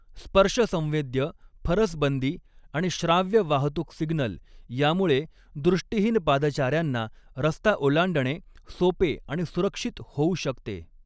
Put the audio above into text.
स्पर्शसंवेद्य फरसबंदी आणि श्राव्य वाहतूक सिग्नल यामुळे दृष्टिहीन पादचाऱ्यांना रस्ता ओलांडणे सोपे आणि सुरक्षित होऊ शकते.